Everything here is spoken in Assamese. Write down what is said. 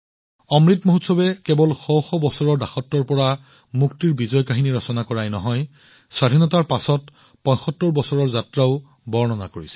অমৃত মহোৎসৱে কেৱল দাসত্বৰ পৰা শ শ বছৰৰ মুক্তিৰ বিজয় কাহিনীৰ বিষয়ে গৌৰৱ কৰাই নহয় বৰঞ্চ স্বাধীনতাৰ পিছত ৭৫ বছৰৰ যাত্ৰাৰ বিষয়েও গৌৰৱ কৰে